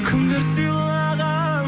кімдер сыйлаған